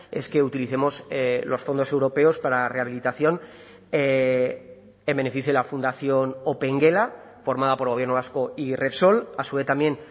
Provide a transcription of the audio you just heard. es que utilicemos los fondos europeos para la rehabilitación en beneficio de la fundación opengela formada por gobierno vasco y repsol a su vez también